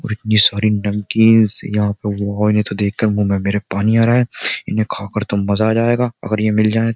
और इतनी सारी नमकींस यहां पे वाओ इन्हें तो देखकर मुंह में मेरे पानी आ रहा है इन्हें खाकर तो मजा आ जाएगा अगर ये मिल जाए --